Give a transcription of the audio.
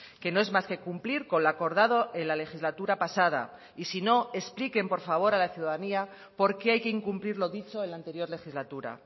que no es más que cumplir con lo acordado en la legislatura pasada y si no expliquen por favor a la ciudadanía porqué hay que incumplir lo dicho en la anterior legislatura